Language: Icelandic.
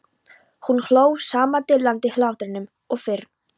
Hún hló sama dillandi hlátrinum og fyrr.